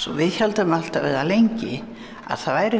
svo við héldum alltaf eða lengi að það væri